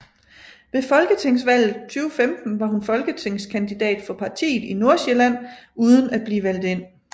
Ved folketingsvalget 2015 var hun folketingskandidat for partiet i Nordsjælland uden at blive valgt ind